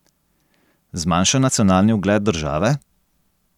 Zmanjšan nacionalni ugled države?